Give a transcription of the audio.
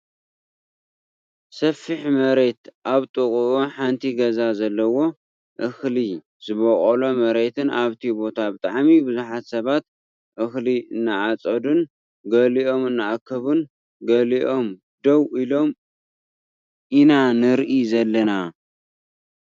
ሰፊሕ መሬት ኣብ ጥቅኡ ሓንቲ ገዛ ዘለዎ እክሊ ዝቦቆሎ መሬትን ኣብቲ ቦታ ብጣዕሚ ብዙሓት ሰባት እክሊ እናዓፀዱን ገሊኦም እናኣከቡን ገሊኦም ደው ኢሎም ኢና ንርኢ ዘለና።